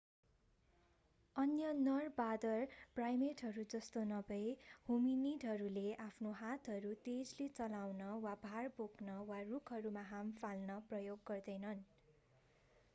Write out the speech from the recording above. अन्य नर बाँदर प्राईमेटहरू जस्तो नभई होमिनिडहरूले आफ्नो हातहरू तेजले चलाउन वा भार बोक्न वा रूखहरूमा हाम फाल्न प्रयोग गर्दैनन्